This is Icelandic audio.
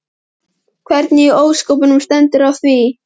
Hvernig í ósköpunum stendur á því?